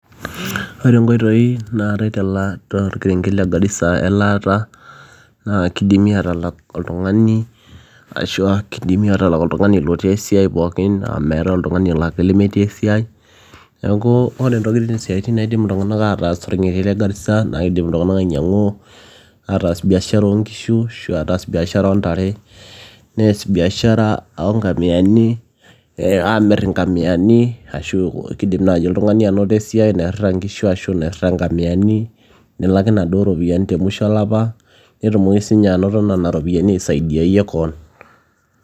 ore inkoitoi naatae tolkerenket le Garissa elaata naa kidimi atalak oltung'ani ashua kidimi atalak oltung'ani lotii esiai pookin meetae oltung'ani olaki lemetii esiai neeku ore intokitin isiaitin naidim iltung'anak ataas tolkerenget le Garissa naa kidim iltung'anak ainyiang'u ataas biashara oonkishu ashu ataas biashara oontare nees biashara onkamiyani eh, amirr inkamiyani ashu kidim naaji oltung'ani anoto esiai nairrita inkishu ashu nairrita inkamiyani nelaki inaduo ropiyiani temusho olapa netumoki siinye anoto nena ropiyiani aisaidiayie koon.